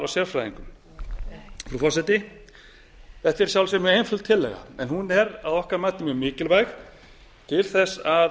sérfræðingum frú forseti þetta er að sjálfsögðu mjög einföld tillaga en hún er að okkar mati mjög mikilvæg til að